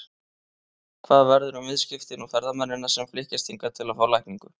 Hvað verður um viðskiptin og ferðamennina sem flykkjast hingað til að fá lækningu?